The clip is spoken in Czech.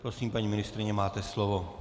Prosím, paní ministryně, máte slovo.